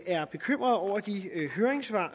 er bekymrede over de høringssvar